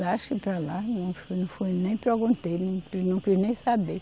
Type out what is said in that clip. Lascou para lá, não foi, não foi, nem perguntei, não quis nem saber.